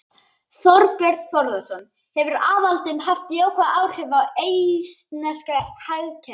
Þorbjörn Þórðarson: Hefur aðildin haft jákvæð áhrif á eistneska hagkerfið?